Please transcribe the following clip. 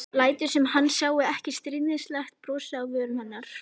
Lætur sem hann sjái ekki stríðnislegt brosið á vörum hennar.